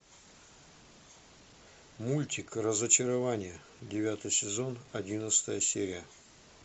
мультик разочарование девятый сезон одиннадцатая серия